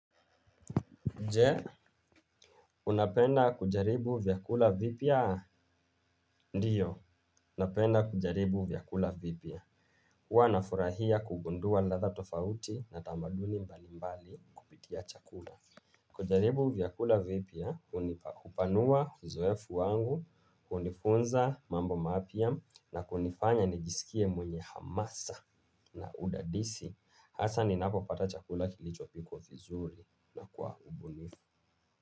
Jee, unapenda kujaribu vyakula vipia? Ndiyo, napenda kujaribu vyakula vipia. Huwa nafurahia kugundua latha tofauti na tamaduni mbali mbali kupitia chakula. Kujaribu vyakula vipia, unipa kupanua uzoefu wangu, unifunza mambo mapia na kunifanya nijisikie mwenye hamasa na udadisi. Hasa ninapo pata chakula kilichopi kwa vizuri na kwa ubunifu.